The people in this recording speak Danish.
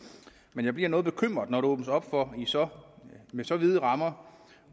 men jeg bliver noget bekymret når der åbnes op for med så vide rammer